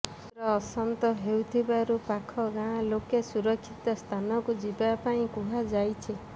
ସମୁଦ୍ର ଅଶାନ୍ତ ରହୁଥିବାରୁ ପାଖ ଗାଁ ଲୋକେ ସୁରକ୍ଷିତ ସ୍ଥାନକୁ ଯିବା ପାଇଁ କୁହାଯାଇଛି